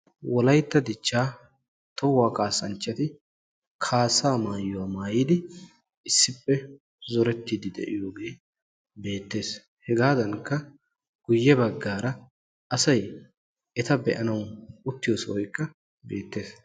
Wolayitta dichchaa tohuwaa kaassanchati kaassaa maayuwa maayidi issippe zorettiiddi de'iyoogee beettes. Hegaadankka guyye baggaara asay eta be'anawu uttiyo sohoykka beettes.